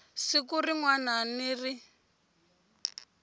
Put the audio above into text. siku rin wana ni rin